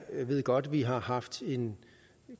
ved godt vi har haft en